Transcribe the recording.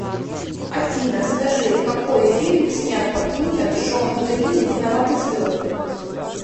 афина скажи какои фильм снят по книге джон грин виноваты звезды